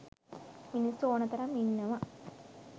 මිනිස්සු ඕන තරම් ඉන්නව.